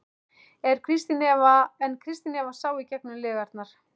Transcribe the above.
En Kristín Eva sá í gegnum lygarnar.